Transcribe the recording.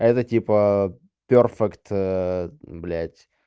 это типа перфект блядь